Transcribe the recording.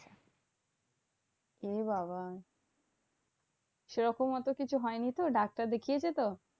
এ বাবা, সেরকম অত কিছু হয়নি তো? ডাক্তার দেখিয়েছে তো?